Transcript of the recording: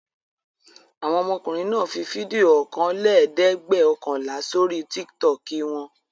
Àwọn ọmọkùnrin náà fi fídíò ọ̀kanlẹ́ẹ̀dẹ́gbẹ̀ọ̀kànlá sórí Tiktok wọn?